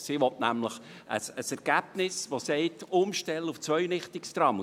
Die Motion will nämlich ein Ergebnis, das eine Umstellung auf Zweirichtungstrams empfiehlt.